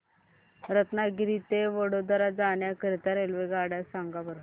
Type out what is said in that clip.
रत्नागिरी ते वडोदरा जाण्या करीता रेल्वेगाड्या सांगा बरं